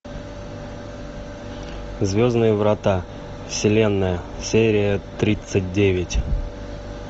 звездные врата вселенная серия тридцать девять